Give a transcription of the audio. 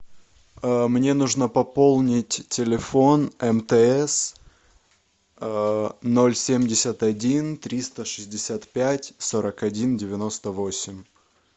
мне нужно пополнить телефон мтс ноль семьдесят один триста шестьдесят пять сорок один девяносто восемь